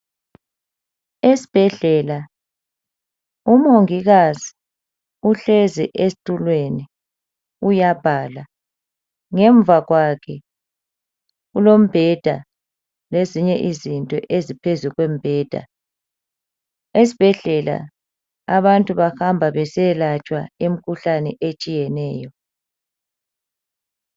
Esibhedlela umongikazi uhlezi esitulweni uyabhala ngemva kwakhe kulombheda lezinye izinto eziphuzulu kombheda. Esibhedlela abantu bahamba besiyakwelatshwa imikhuhlane etshiyeneyo.